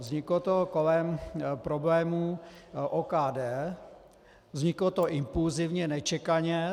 Vzniklo to kolem problémů OKD, vzniklo to impulzivně, nečekaně.